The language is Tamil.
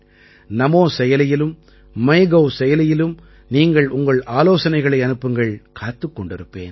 நமோ செயலியிலும் மைகவ் செயலியிலும் நீங்கள் உங்கள் ஆலோசனைகளை அனுப்புங்கள் காத்துக் கொண்டிருப்பேன்